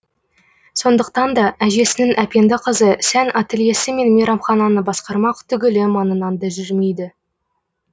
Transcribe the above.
сондықтан да әжесінің әпенді қызы сән ательесі мен мейрамхананы басқармақ түгілі маңынан да жүрмейді